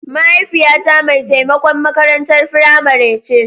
mahaifiyata mai taimakon makarantar firamare ce.